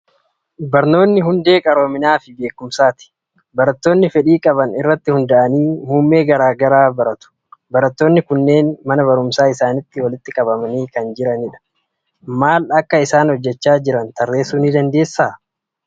Barnoonni hundee qaroominaa fi beekumsaati. Barattoonni fedhii qaban irratti hundaa'anii muummee garaa garaa baratu. Barattoonni kunneen mana barumsaa isaaniitti walitti qabamanii kan jiranidha. Maala akka isaan hojjechaa jiran tarreessuu ni dandeessaa?